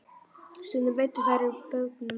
Stundum veiddu þeir úr bátnum.